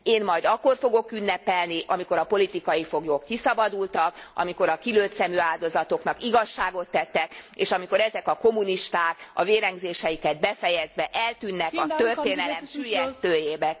Én majd akkor fogok ünnepelni, amikor a politikai foglyok kiszabadultak, amikor a kilőtt szemű áldozatoknak igazságot tettek, és amikor ezek a kommunisták a vérengzéseiket befejezve eltűnnek a történelem süllyesztőjében.